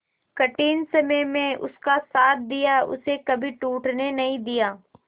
कठिन समय में उसका साथ दिया उसे कभी टूटने नहीं दिया